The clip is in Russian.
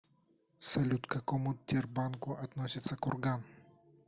салют к какому тербанку относится курган